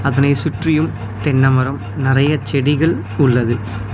அதனை சுற்றியும் தென்ன மரம் நறைய செடிகள் உள்ளது.